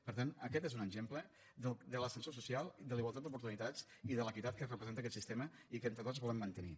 per tant aquest és un exemple de l’ascensor social de la igualtat d’oportunitats i de l’equitat que representa aquest sistema i que entre tots volem mantenir